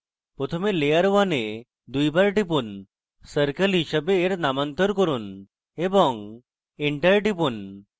প্রথমে layer 1 এ দুইবার টিপুন এবং circle হিসাবে এর নামান্তর করুন এবং enter টিপুন